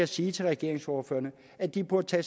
sige til regeringsordførerne at de burde tage